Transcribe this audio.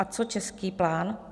A co český plán?